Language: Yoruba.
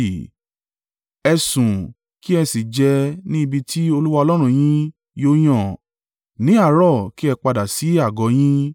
Ẹ sun ún kí ẹ sì jẹ ẹ́ ní ibi tí Olúwa Ọlọ́run yín yóò yàn. Ní àárọ̀, kí ẹ padà sí àgọ́ ọ yín.